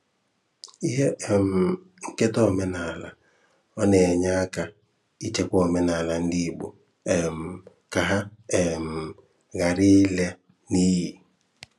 Ihe um Nketa Omenaala: Ọ na-enye aka ịchekwa omenaala ndị Igbo um ka ha um ghara ila n’iyi.